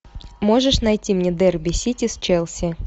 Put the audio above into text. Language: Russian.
можешь найти мне дерби сити с челси